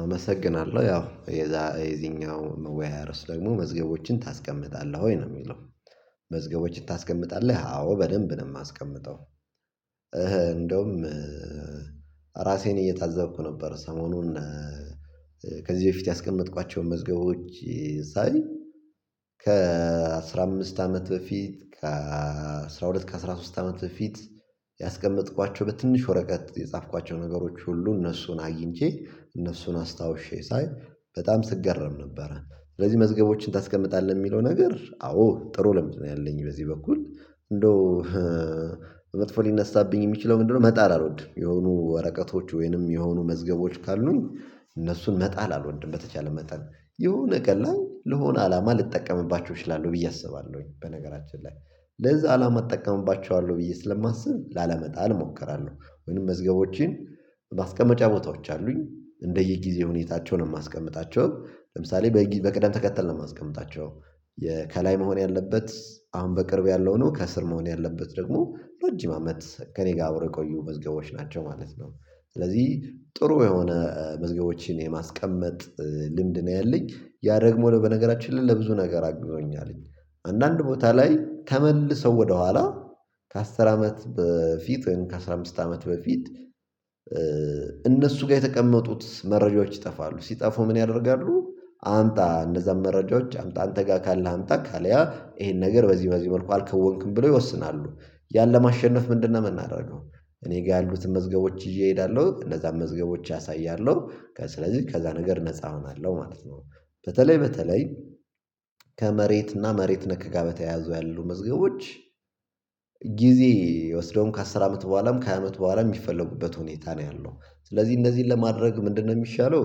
አመሰግናለሁ ያው የዚኛው መወያያ ርዕስ ደግሞ መዝገቦችን ታስቀምጣለህ ወይ ነው የሚለው መዝገቦችን ታስቀምጣለህ አዎ በደንብ ነው የማስቀምጠው እንደውም ራሴን እየታዘብኩ ነበር ሰሞኑን ከዚህ በፊት ያስቀመጥኳቸውን መዝገቦች ሳይ ከአሥራ አምስት አመት በፊት ከአሥራ ሁለት ከአሥራ ሶስት አመት በፊት ያስቀመጥኳቸው በትንሽ ወረቀት የጻፍኳቸው ነገሮች ሁሉ እነሱን አግኝቼ እነሱን አስታውሼ ሳይ በጣም ስገረም ነበረ ስለዚህ መዝገቦችን ታስቀምጣለህ የሚለው ነገር አዎ ጥሩ ልምድ ነው ያለኝ በዚህ በኩል እንደው መጥፎ ሊነሳብኝ የሚችለው ምንድነው መጣል አልወድም የሆኑ ወረቀቶች ወይንም የሆኑ መዝገቦች ካሉኝ እነሱን መጣል አልወድም በተቻለ መጣል የሆነ ቀን ላይ ለሆነ አላማ ልጠቀምባቸው እችላለሁ ብዬ አስባለሁኝ በነገራችን ላይ ለዛ አላማ እጠቀምባቸዋለሁ ብዬ ስለማስብ ላለመጣል እሞክራለሁ ወይንም መዝገቦቼን ማስቀመጫ ቦታዎች አሉኝ እንደ የጊዜ ሁኔታቸ ነው የማስቀምጣቸው ለምሳሌ በቅደም ተከተል ነው የማስቀምጣቸው ከላይ መሆን ያለበት አሁን በቅርብ ያለው ነው ከስር መሆን ያለበት ደግሞ ረጅም አመት ከእኔ ጋር አብረው የቆዩ መዝገቦች ናቸው ማለት ነው ስለዚህ ጥሩ የሆነ መዝገቦችን የማስቀመጥ ልምድ ነው ያለኝ ያ ደግሞ በነገራችን ላይ ለብዙ ነገር አግዞኛል አንዳንድ ቦታ ላይ ተመልሰው ወደኋላ ከአስር አመት በፊት ከአስራ አምስት አመት በፊት እነሱ ጋር የተቀመጡት መረጃዎች ይጠፋሉ ሲጠፉ ምን ያደርጋሉ አምጣ እነዛን መረጃዎች አምጣ አንተ ጋር ካለ አምጣ ካልያ ይሄን ነገር በዚህ በዚህ መልኩ አልከውንክም ብለው ይወስናሉ ያን ለማሸነፍ ምንድነው የምናደርገው እኔ ጋር ያሉትን መዝገቦች ይዤ እሄዳለሁ እነዛን መዝገቦች አሳያለሁ ስለዚህ ከዛ ነገር ነፃ እሆናለሁ ማለት ነው በተለይ በተለይ ከመሬትና መሬት ነክ ጋር በተያያዙ ያሉ መዝገቦች ጊዜ ወስደውም ከአስር አመት በኋላም ከሃያ አመት በኋላም የሚፈለጉበት ሁኔታ ነው ያለው ስለዚህ እነዚህን ለማድረግ ምንድነው የሚሻለው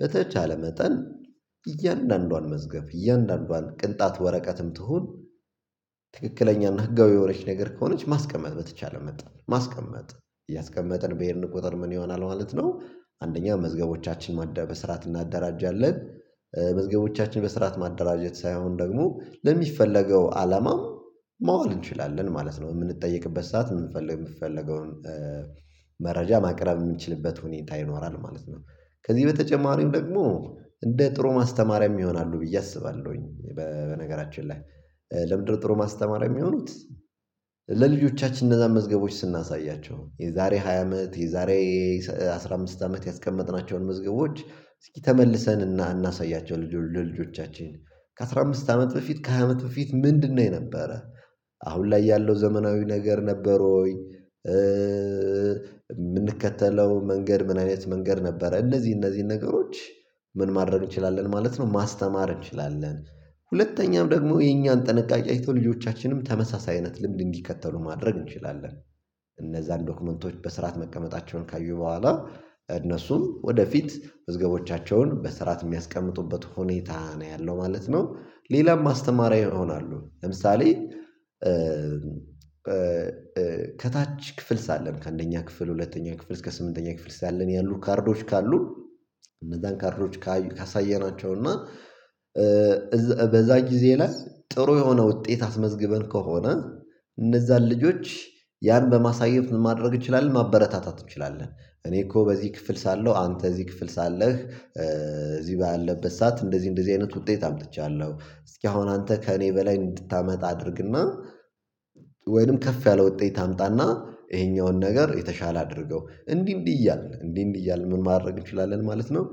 በተቻለ መጠን እያንዳንዷን መዝገብ እያንዳንዷን ቅንጣት ወረቀትም ትሁን ትክክለኛና ህጋዊ የሆነች ነገር ከሆነች ማስቀመጥ በተቻለ መጠን ማስቀመጥ እያስቀመጥን በሄድን ቁጥር ምን ይሆናል ማለት ነው አንደኛ መዝገቦቻችን በስርዓት እናደራጃለን መዝገቦቻችን በስርዓት ማደራጀት ሳይሆን ደግሞ ለሚፈለገው አላማም ማዋል እንችላለን ማለት ነው የምንጠየቅበት ሰዓት የምንፈልግ የሚፈለገውን መረጃ ማቅረብ የምንችልበት ሁኔታ ይኖራል ማለት ነው ከዚህ በተጨማሪም ደግሞ እንደ ጥሩ ማስተማሪያም ይሆናሉ ብዬ አስባለሁኝ በነገራችን ላይ ለምንድነው ጥሩ ማስተማርያ የሚሆኑት ለልጆቻችን እነዛን መዝገቦች ስናሳያቸው የዛሬ ሃያ አመት የዛሬ አስራ አምስት አመት ያስቀመጥናቸውን መዝገቦች እስኪ ተመልሰን እናሳያቸው ለልጆቻችን ከአሥራ አምስት አመት በፊት ከሃያ አመት በፊት ምንድነው የነበረ አሁን ላይ ያለው ዘመናዊ ነገር ነበር ወይ የምንከተለው መንገድ ምን አይነት መንገድ ነበረ እነዚህ እነዚህን ነገሮች ምን ማድረግ እንችላለን ማለት ነው ማስተማር እንችላለን ሁለተኛም ደግሞ የኛን ጥንቃቄ አይተው ልጆቻችንም ተመሳሳይ አይነት ልምድ እንዲከተሉ ማድረግ እንችላለን እነዛን ዶክመንቶች በስርዓት መቀመጣቸውን ካዩ በኋላ እነሱም ወደፊት መዝገቦቻቸውን በስርዓት የሚያስቀምጡበት ሁኔታ ነው ያለው ማለት ነው። ሌላም አስተማሪ ይሆናሉ ለምሳሌ ከታች ክፍል ሳለን ከአንደኛ ክፍል ሁለተኛ ክፍል እስከ ስምንተኛ ክፍል ሳለን ያሉ ካርዶች ካሉን እነዛን ካርዶች ካሳየናቸው እና በዛ ጊዜ ላይ ጥሩ የሆነ ውጤት አስመዝግበን ከሆነ እነዛን ልጆች ያን በማሳየት ምን ማድረግ እንችላለን ማበረታታት እንችላለን እኔ እኮ በዚህ ክፍል ሳለሁ አንተ እዚህ ክፍል ሳለህ እዚህ ባለበት ሰዓት እንደዚህ እንደዚህ አይነት ውጤት አምጥቻለሁ እስኪ አሁን አንተ ከእኔ በላይ እንድታመጣ አድርግና ወይንም ከፍ ያለ ውጤት አምጣና ይሄኛውን ነገር የተሻለ አድርገው እንዲህ እንዲህ እያልን እንዲህ እንዲህ እያልን ምን ማድረግ እንችላለን ማለት ነው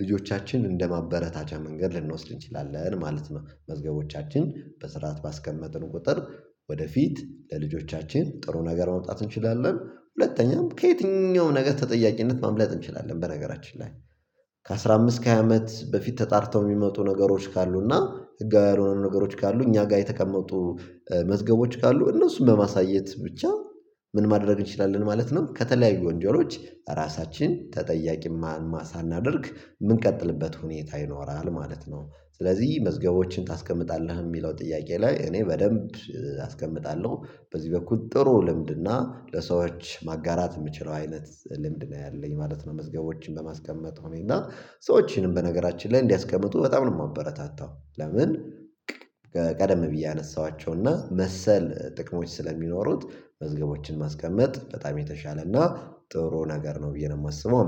ልጆቻችን እንደማበረታቻ መንገድ ልንወስድ እንችላለን ማለት ነው መዝገቦቻችን በስርዓት ባስቀመጥን ቁጥር ወደፊት ለልጆቻችን ጥሩ ነገር ማምጣት እንችላለን ሁለተኛም ከየትኛውም ነገር ተጠያቂነት ማምለጥ እንችላለን በነገራችን ላይ ከአሥራ አምስት ከሃያ አመት በፊት ተጣርተው የሚመጡ ነገሮች ካሉ እና ህጋዊ ያልሆኑ ነገሮች ካሉ እኛ ጋር የተቀመጡ መዝገቦች ካሉ እነሱን በማሳየት ብቻ ምን ማድረግ እንችላለን ማለት ነው ከተለያዩ ወንጀሎች ራሳችንን ተጠያቂ ሳናድርግ የምንቀጥልበት ሁኔታ ይኖራል ማለት ነው ስለዚህ መዝገቦችን ታስቀምጣለህ የሚለው ጥያቄ ላይ እኔ በደንብ አስቀምጣለሁ በዚህ በኩል ጥሩ ልምድና ለሰዎች ማጋራት የምችለው አይነት ልምድ ነው ያለኝ ማለት ነው መዝገቦችን በማስቀመጥ እና ሰዎችንም በነገራችን ላይ እንዲያስቀምጡ በጣም ነው የማበረታታው ለምን በቃ ቀደም ብዬ ያነሳኋቸው እና መሰል ጥቅሞች ስለሚኖሩት መዝገቦችን ማስቀመጥ በጣም የተሻለና ጥሩ ነገር ነው ብዬ ነው የማስበው